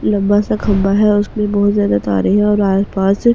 लंबा सा खंबा है उस में बहुत ज्यादा तारें हैं और आस-पास बहुत ज्यादा --